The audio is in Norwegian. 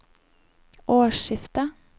årsskiftet